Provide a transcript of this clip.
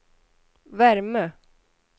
värme